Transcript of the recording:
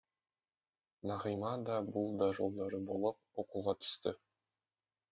нағима да бұл да жолдары боп оқуға түсті